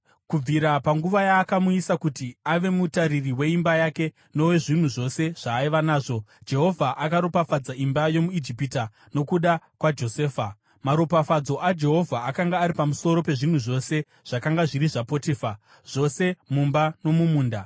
Kubvira panguva yaakamuisa kuti ave mutariri weimba yake nowezvinhu zvose zvaaiva nazvo, Jehovha akaropafadza imba yomuIjipita nokuda kwaJosefa. Maropafadzo aJehovha akanga ari pamusoro pezvinhu zvose zvakanga zviri zvaPotifa, zvose mumba nomumunda.